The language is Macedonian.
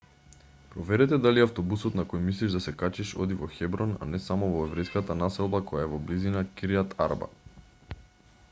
проверете дали автобусот на кој мислиш да се качиш оди во хеброн а не само во еврејската населба која е во близина кирјат арба